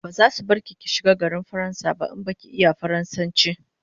Bazasu bar ki ki shiga faransa ba in baki iya faransanchi